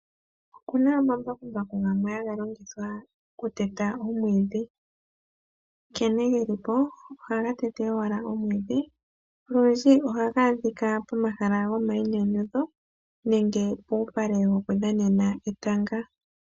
Okuna omambakumbaku gamwe haga longithwa okuteta omwiidhi nkene gelipo ohaga tete owala omwiidhi, olundji ohaga adhika pomahala goma yinyanyudho nenge pupale woku dhanena etanga.